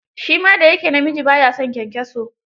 Shi ma da ya ke namiji, ba ya son kyankyaso.